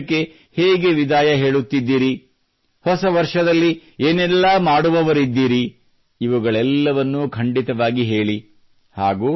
ತಾವು ಈ ವರ್ಷಕ್ಕೆ ಹೇಗೆ ವಿದಾಯ ಹೇಳುತ್ತಿದ್ದೀರಿ ಹೊಸ ವರ್ಷದಲ್ಲಿ ಏನೆಲ್ಲ ಮಾಡುವವರಿದ್ದೀರಿ ಇವುಗಳೆಲ್ಲವನ್ನೂ ಖಂಡಿತವಾಗಿ ಹೇಳಿ